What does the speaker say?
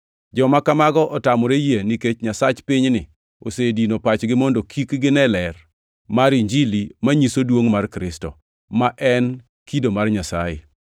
Joma kamago otamore yie nikech nyasach pinyni osedino pachgi mondo kik gine ler mar Injili manyiso duongʼ mar Kristo, ma en e kido mar Nyasaye.